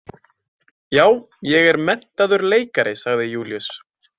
Já, ég er menntaður leikari, sagði Júlíus.